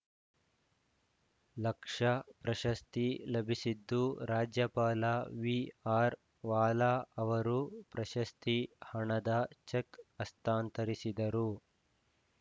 ಲಕ್ಷ ಪ್ರಶಸ್ತಿ ಲಭಿಸಿದ್ದು ರಾಜ್ಯಪಾಲ ವಿಆರ್‌ವಾಲಾ ಅವರು ಪ್ರಶಸ್ತಿ ಹಣದ ಚೆಕ್‌ ಹಸ್ತಾಂತರಿಸಿದರು